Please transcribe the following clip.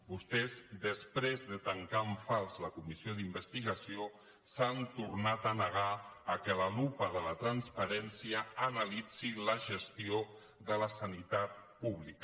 vostès després de tancar en fals la comissió d’investigació s’han tornat a negar al fet que la lupa de la transparència analitzi la gestió de la sanitat pública